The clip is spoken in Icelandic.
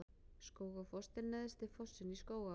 Skógafoss er neðsti fossinn í Skógaá.